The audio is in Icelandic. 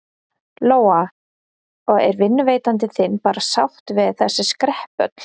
Lóa: Og er vinnuveitandi þinn bara sáttur við þessi skrepp öll?